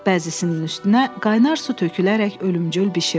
Bəzisinin üstünə qaynar su tökülərək ölümcül bişirdi.